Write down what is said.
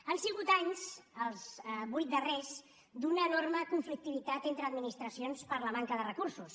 han sigut anys els vuit darrers d’una enorme conflictivitat entre administracions per la manca de recursos